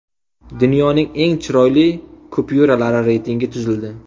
Dunyoning eng chiroyli kupyuralari reytingi tuzildi.